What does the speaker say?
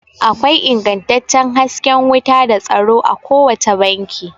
Akwai ingantaccen hasken wuta da tsaro a kowace banki